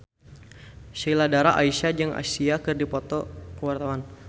Sheila Dara Aisha jeung Sia keur dipoto ku wartawan